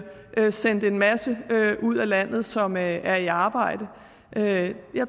sendt en masse ud af landet som er i arbejde jeg